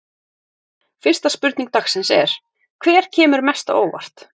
Fyrsta spurning dagsins er: Hver kemur mest á óvart?